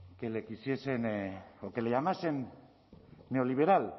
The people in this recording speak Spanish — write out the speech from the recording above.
que le quisiesen o que le llamasen neoliberal